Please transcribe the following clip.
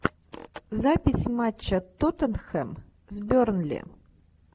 запись матча тоттенхэм с бернли